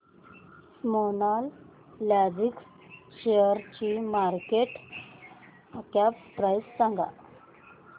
Snowman Logistics शेअरची market cap price सांगा